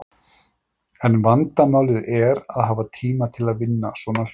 En vandamálið er að hafa tíma til að vinna svona hluti.